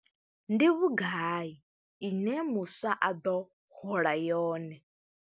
Ndi vhugai ine muswa a ḓo hola yone?